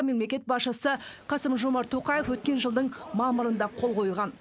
мемлекет басшысы қасым жомарт тоқаев өткен жылдың мамырында қол қойған